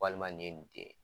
Walima ninye nin denye.